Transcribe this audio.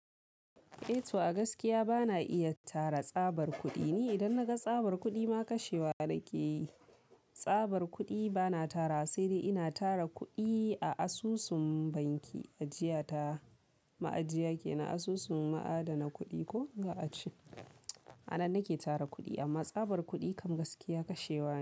E to a gaskiya ba na iya tara tsabar kuɗi. Ni idan na ga tsabar kuɗi ma kashewa nake yi. Tsabar kuɗi ba na tarawa, sai dai ina tara kuɗi a asusun banki, ajiya ta, ma'ajiya kenan asusun na adana kuɗi ko za a ce. A nan nake tara kuɗi, amma tsabar kuɗi kam gaskiya kashewa ne.